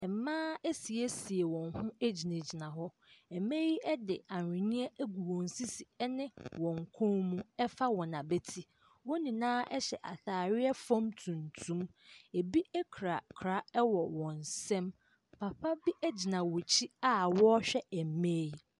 Mmaa asiesie wɔn ho egyinagyina hɔ. Mbaa yi de ahweneɛ agu wɔn sisi ɛne wɔn kɔn mu ɛfa wɔn abɛti. Wɔn nyinaa hyɛ ataareɛ fam tuntum. Ebi kura kora wɔ wɔn nsam. Papa bi gyina wɔn akyi a wɔrehwɛ mmaa yi.